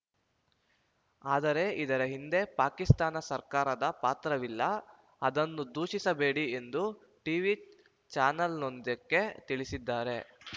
ಆದರೆ ಇದರ ಹಿಂದೆ ಪಾಕಿಸ್ತಾನ ಸರ್ಕಾರದ ಪಾತ್ರವಿಲ್ಲ ಅದನ್ನು ದೂಷಿಸಬೇಡಿ ಎಂದು ಟೀವಿ ಚಾನೆಲೊಂದಕ್ಕೆ ತಿಳಿಸಿದ್ದಾರೆ